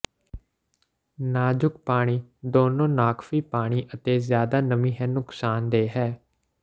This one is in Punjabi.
ਨਾਜੁਕ ਪਾਣੀ ਦੋਨੋ ਨਾਕਾਫ਼ੀ ਪਾਣੀ ਅਤੇ ਜ਼ਿਆਦਾ ਨਮੀ ਹੈ ਨੁਕਸਾਨਦੇਹ ਹੈ